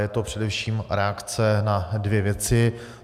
Je to především reakce na dvě věci.